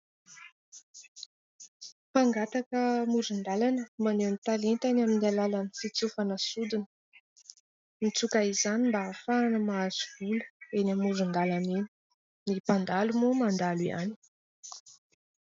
mpangataka amoron-dalana maneho ny talentany amin'ny alalan'ny fitsofana sodina mitsoka izany mba afahana mahazo vola eny amoron-dalana eny ny mpandalo moa mandalo ihany